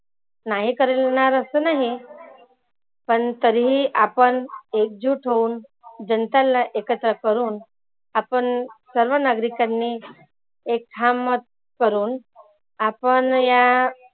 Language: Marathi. नाही करणार असं नाही पण तरी ही आपण एक जुट होऊन जनतांना एकत्र करूण आपण सर्व नागरिकांनी एक ठाम मत करुण आपण या